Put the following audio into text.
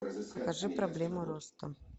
покажи проблема роста